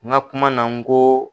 N ka kuma na n ko